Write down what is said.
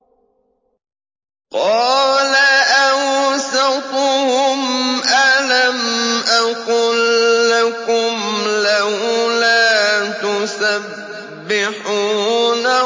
قَالَ أَوْسَطُهُمْ أَلَمْ أَقُل لَّكُمْ لَوْلَا تُسَبِّحُونَ